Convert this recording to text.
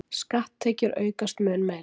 Skatttekjur aukast mun meira